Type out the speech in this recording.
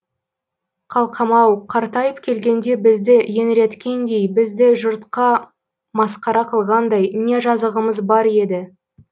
қалқам ау қартайып келгенде бізді еңіреткендей бізді жұртқа масқара қылғандай не жазығымыз бар еді